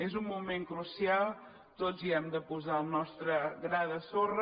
és un moment crucial tots hi hem de posar el nostre gra de sorra